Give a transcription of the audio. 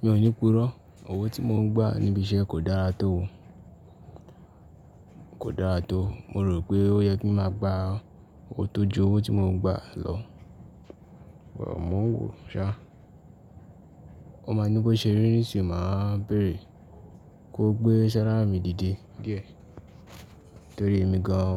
Mi ò ní purọ́, owó tí mo ń gbà níbi iṣẹ́ kò dára tó, kò dára tó. Mo rò pé ó yẹ kí ń máa gba owó tó ju owó tí mo ń gbà lọ, but mò ń wòó ṣá. Ó máa ní bó ṣe rí, nísìnyí màá bèèrè kó gbé isẹ́ ńlá mi dìde díẹ̀ torí èmi gan